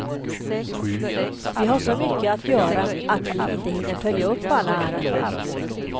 Vi har så mycket att göra att vi inte hinner följa upp alla ärenden.